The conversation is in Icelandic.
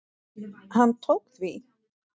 Hann tók því.